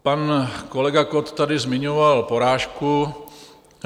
Pan kolega Kott tady zmiňoval porážku.